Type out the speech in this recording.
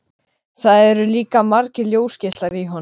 Það eru líka margir ljósgeislar í honum.